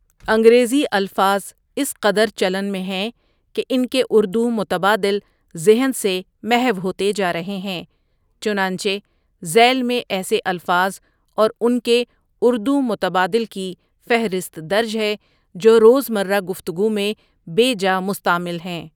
انگریزی الفاظ اس قدر چلن میں ہیں کہ ان کے اردو متبادل ذہن سے محو ہوتے جا رہے ہیں، چنانچہ ذیل میں ایسے الفاظ اور ان کے اردو متبادل کی فہرست درج ہے جو روزمرہ گفتگو میں بے جا مستعمل ہیں ۔